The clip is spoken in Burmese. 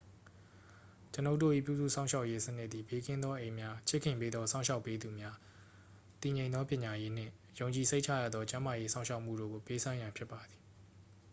ကျွန်ုပ်တို့၏ပြုစုစောင့်ရှောက်ရေးစနစ်သည် ဘေးကင်းသောအိမ်များ ချစ်ခင်ပေးသောစောင့်ရှောက်ပေးသူများ တည်ငြိမ်သောပညာရေးနှင့် ယုံကြည်စိတ်ချရသောကျန်းမာရေးစောင့်ရှောက်မှုတို့ကိုပေးစွမ်းရန်ဖြစ်ပါသည်